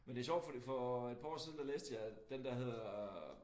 Men det sjovt fordi for et par år siden jeg den der hedder